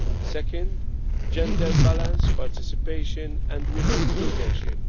Second, gender-balanced participation and women's leadership.